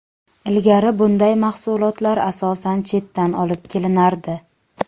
Ilgari bunday mahsulotlar asosan chetdan olib kelinardi.